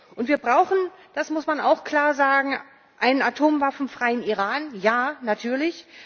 Und wir brauchen, das muss man auch klar sagen, einen atomwaffenfreien Iran, ja, natürlich.